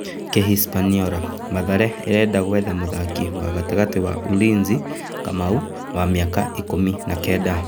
(Kĩhispaniora) Mathare ĩrenda gwetha mũthaki wa gatagatĩ wa Ulinzi Kamau, wa mĩaka ikũmi na kenda